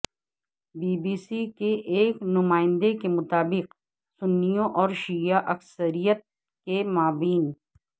be B C کے ا یک نمائندے کے مطابق سنیوں اورشیعہ اکثریت کےمابین